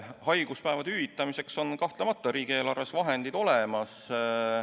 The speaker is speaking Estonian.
Haiguspäevade hüvitamiseks on kahtlemata riigieelarves vahendid olemas.